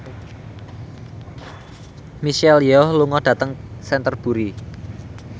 Michelle Yeoh lunga dhateng Canterbury